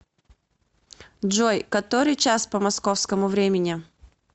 джой который час по московскому времени